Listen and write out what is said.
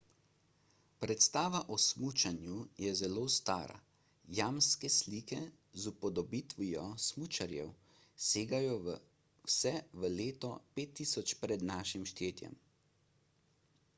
predstava o smučanju je zelo stara – jamske slike z upodobitvijo smučarjev segajo vse v leto 5000 pr n št